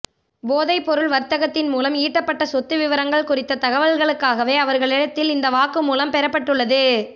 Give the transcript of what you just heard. போதைப்பொருள் வர்த்தகத்தின் மூலம் ஈட்டப்பட்ட சொத்து விபரங்கள் குறித்த தகவல்களுக்காகவே அவர்களிடத்தில் இந்த வாக்குமூலம் பெறப்பட்டுள்ளது